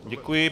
Děkuji.